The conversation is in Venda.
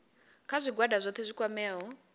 kha zwigwada zwohe zwi kwameaho